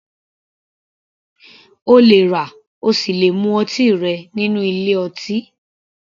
O lè rà ,o sì le mu ọtí rẹ nínú ilé ọtí